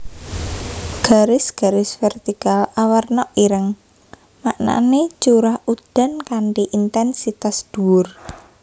Garis garis vertikal awarna ireng maknané curah udan kanthi intènsitas dhuwur